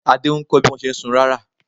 Adé ń kọ́ bí wọ́n ṣe ń sun rárà.